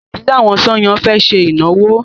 Ìdílé àwọn Sànyà fẹ́ ṣe ìnáwó.